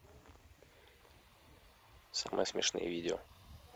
самые смешные видео